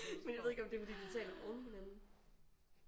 Men jeg ved ikke om det er fordi de taler oveni hinanden